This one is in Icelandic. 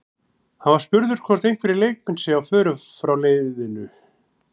Hann var spurður hvort einhverjir leikmenn séu á förum frá leiðinu?